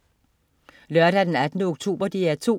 Lørdag den 18. oktober - DR 2: